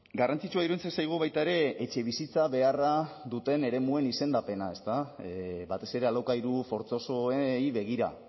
garrantzitsua iruditzen zaigu baita ere etxebizitza beharra duten eremuen izendapena batez ere alokairu fortzosoei begira